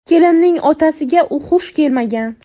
Kelinning otasiga u xush kelmagan.